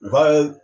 U ka